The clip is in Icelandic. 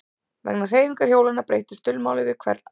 Vegna hreyfingar hjólanna breyttist dulmálið við hvern áslátt.